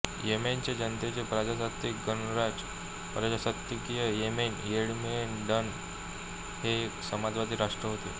येमेनचे जनतेचे प्रजासत्ताकीय गणराज्य प्रजासत्ताकीय येमेन येमेनएडन हे एक समाजवादी राष्ट्र होते